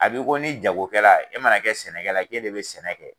A b'i ko ni jagokɛra, e mana kɛ sɛnɛkɛla ye k'e de bɛ sɛnɛ kɛ.